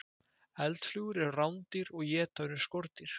Eldflugur eru rándýr og éta önnur skordýr.